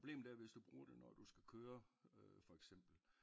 Problemet er hvis du bruger det når du skal køre for eksempel